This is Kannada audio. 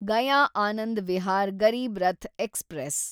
ಗಯಾ ಆನಂದ್ ವಿಹಾರ್ ಗರೀಬ್ ರಥ್‌ ಎಕ್ಸ್‌ಪ್ರೆಸ್